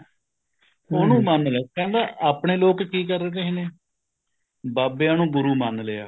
ਉਹਨੂੰ ਮੰਨਲੋ ਕਹਿੰਦਾ ਆਪਣੇ ਲੋਕ ਕੀ ਕਰ ਰਹੇ ਨੇ ਬਾਬਿਆਂ ਨੂੰ ਗੁਰੂ ਮੰਨ ਲਿਆ